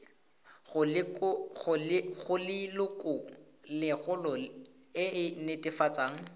go lelokolegolo e e netefatsang